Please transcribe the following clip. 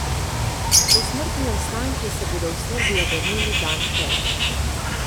Posmrtni ostanki se bodo v Srbijo vrnili dan prej.